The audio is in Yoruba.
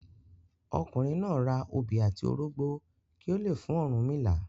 Ọkùnrin náà ra obi àti orógbọ kí ó le fún Ọ̀rúnmìlà.